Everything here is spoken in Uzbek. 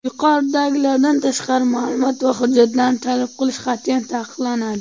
Yuqoridagilardan tashqari maʼlumot va hujjatlarni talab qilish qatʼiyan taqiqlanadi.